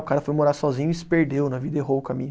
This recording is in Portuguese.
O cara foi morar sozinho e se perdeu na vida, errou o caminho.